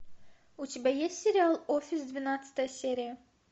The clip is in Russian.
у тебя есть сериал офис двенадцатая серия